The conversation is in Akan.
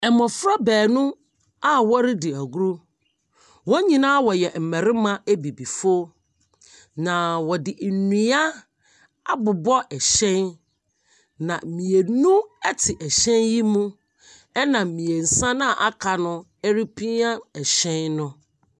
Mmɔfra baanu a ɔredi agoro. Wɔn nyinaa wɔyɛ mmarimma abibifo. Na ɔde nnua abobɔ ɛhyɛn. Na mmienu ɛte ɛhyɛn yi mu ɛna mmiɛnsa noa aka no ɛrepia ɛhyɛn no.